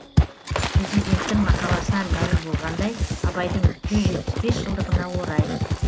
президенттің мақаласынан мәлім болғандай абайдың жүз жетпіс бес жылдығына орай